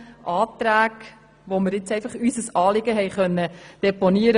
Wir konnten in den Anträgen unser Anliegen deponieren.